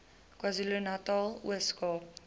kwazulunatal ooskaap